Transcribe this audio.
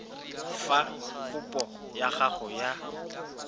fa kopo ya gago ya